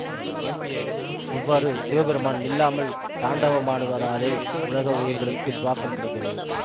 இவ்வாறு சிவபெருமான் நில்லாமல் தாண்டவமாடுவதாலே உலக உயிர்களுக்கு சுவாசம் கிடைக்கிறது